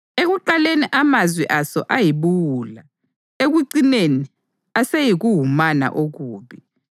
Ekuqaleni amazwi aso ayibuwula; ekucineni aseyikuwumana okubi